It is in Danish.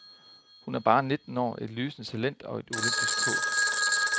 Hun er bare nitten år, et lysende talent og et olympisk håb.